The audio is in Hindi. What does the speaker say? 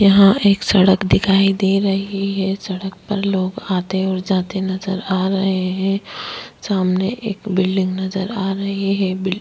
यहाँ एक सड़क दिखाई दे रही है सड़क पर लोग आते और जाते नज़र आ रहे है सामने एक बिल्डिंग नज़र आ रही है बिल्डिंग --